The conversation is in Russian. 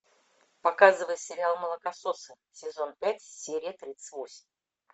показывай сериал молокососы сезон пять серия тридцать восемь